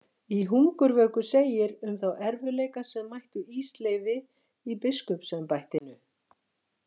Í Hungurvöku segir um þá erfiðleika sem mættu Ísleifi í biskupsembættinu.